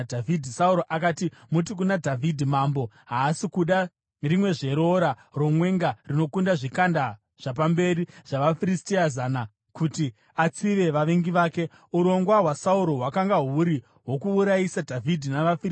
Sauro akati, “Muti kuna Dhavhidhi, ‘Mambo haasi kuda rimwezve roora romwenga rinokunda zvikanda zvapamberi zvavaFiristia zana, kuti atsive vavengi vake.’ ” Urongwa hwaSauro hwakanga huri hwokuurayisa Dhavhidhi navaFiristia.